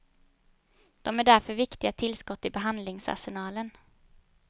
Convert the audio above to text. De är därför viktiga tillskott i behandlingsarsenalen.